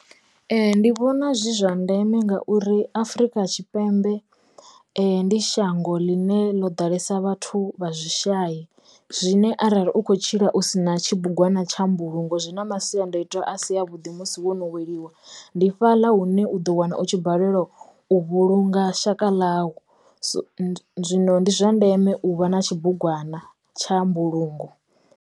Ee ndi vhona zwi zwa ndeme ngauri Afrika Tshipembe ndi shango ḽine ḽo ḓalesa vhathu vha zwi shayi zwine arali u kho tshila u sina tshibugwana tsha mbulungo zwi na masiandaitwa a si a vhuḓi musi no weliwa ndi fhaḽa hune u ḓo wana u tshi balelwa u vhulunga shaka ḽau so zwino ndi zwa ndeme u vha na tshibugwana tsha mbulungo.